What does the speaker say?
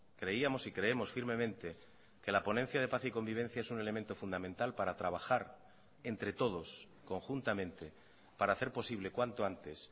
creíamos y creemos firmemente que la ponencia de paz y convivencia es un elemento fundamental para trabajar entre todos conjuntamente para hacer posible cuanto antes